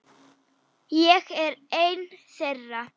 Ég er einn þeirra.